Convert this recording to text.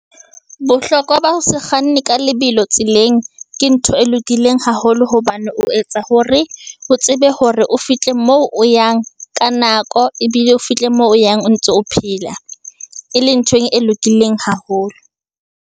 Bohlokwa ba ho se kganne ka lebelo tseleng, ke ntho e lokileng haholo hobane o etsa hore, o tsebe hore o fihle mo o yang ka nako. Ebile o fihle moo o yang o ntso o phela, e leng ntho e lokileng haholo.